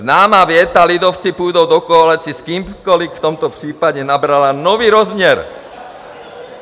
Známá věta "lidovci půjdou do koalice s kýmkoli" v tomto případě nabrala nový rozměr.